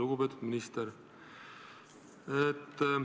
Lugupeetud minister!